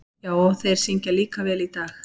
Já, og þeir syngja líka vel í dag.